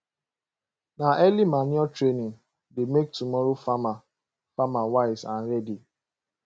na early manure training dey make tomorrow farmer farmer wise and ready